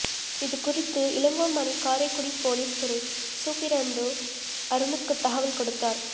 இது குறித்து இளங்கோமணி காரைக்குடி போலீஸ் துணை சூப்பிரண்டு அருணுக்கு தகவல் கொடுத்தார்